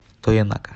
тоенака